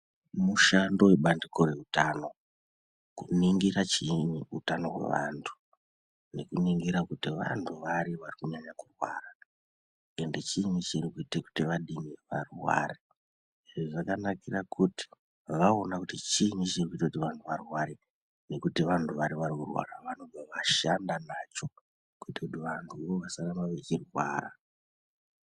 Mushando webandiko reutano kuningira utano hwevantu nekuningira kuti vantu vari varikunyanya kurwara ende chiini chirikuite kuti vadini varware. Izvi zvakanakira kuti vaona kuti chiini chirikuita kuti vantu varware nekuti vantu vari vari kurwara vanobva vashanda nacho kuti vanhuvo vasaramba vachirwara.